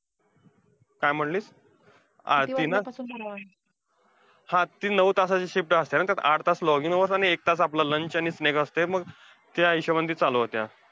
काय म्हणली, हा ती ना हा ती नऊ तासाची shift असतीया ना, मग आठ तास login hours आणि एक तास आपला lunch आणि snack असतोय. मग त्या हिशोबाने ती चालू होतीया.